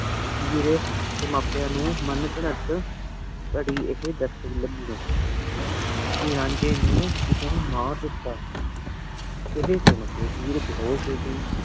hair ਡੀ ਮੰਪੇਯਾ ਨੂ ਮੰਘੰਤ ਕਰੀ ਏਹੀ ਦਾਸੀ ਕੀ ਰੰਜੀ ਨੂੰ ਕਿਸੀ ਨੀ ਮਾਰ ਦੇਤਾ ਏਹੀ ਸੁਨ ਕੀ ਹੇਅਰ ਬੇਹੁਸ਼ ਹੂ ਗਈ